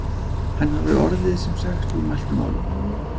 Hann hafði orðið sem sagt úr mæltu máli.